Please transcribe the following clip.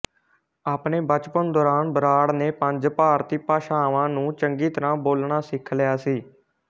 ਆਪਣੇ ਬਚਪਨ ਦੌਰਾਨ ਬਰਾੜ ਨੇ ਪੰਜ ਭਾਰਤੀ ਭਾਸ਼ਾਵਾਂ ਨੂੰ ਚੰਗੀ ਤਰ੍ਹਾਂ ਬੋਲਣਾ ਸਿੱਖ ਲਿਆ ਸੀ